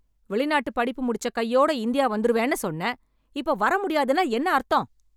வெளிநாட்டு படிப்பு முடிச்ச கையோட இந்தியா வந்துருவேன்னு சொன்ன, இப்ப வர முடியாதுன்னா என்ன அர்த்தம்?